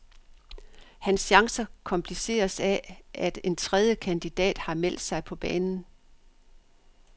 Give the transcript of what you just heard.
Hans chancer kompliceres af, at en tredje kandidat har meldt sig på banen.